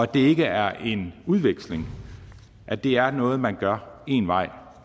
det ikke er en udveksling at det er noget man gør én vej